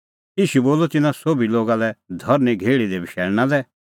ईशू बोलअ तिन्नां सोभी लोगा लै धरनीं घेहल़ी दी बशैल़णा लै